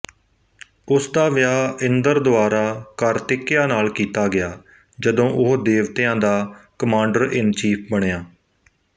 ਉਸ ਦਾ ਵਿਆਹ ਇੰਦਰ ਦੁਆਰਾ ਕਾਰਤਿਕਿਆ ਨਾਲ ਕੀਤਾ ਗਿਆ ਜਦੋਂ ਉਹ ਦੇਵਤਿਆਂ ਦਾ ਕਮਾਂਡਰਇਨਚੀਫ਼ ਬਣਿਆ